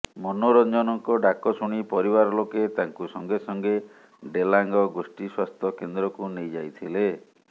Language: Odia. ମନୋରଞ୍ଜନଙ୍କ ଡାକ ଶୁଣି ପରିବାର ଲୋକେ ତାଙ୍କୁ ସଙ୍ଗେ ସଙ୍ଗେ ଡ଼େଲାଙ୍ଗ ଗୋଷ୍ଠୀ ସ୍ବାସ୍ଥ୍ୟ କେନ୍ଦ୍ରକୁ ନେଇ ଯାଇଥିଲେ